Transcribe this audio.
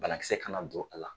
Banakisɛ kana don a la.